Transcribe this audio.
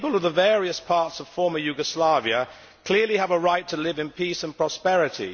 The people of the various parts of former Yugoslavia clearly have a right to live in peace and prosperity.